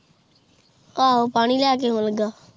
ਆਹੋ ਪਾਣੀ ਲੈ ਕੇ ਆਉਂਣ ਲਗਾ